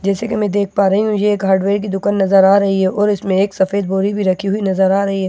जैसे कि मैं देख पा रही हु। ये एक हार्डवेयर की दुकान नजर आ रही है और इसमें एक सफेद बोरी भी रखी हुई नजर आ रही है।